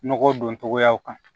Nɔgɔ don cogoyaw kan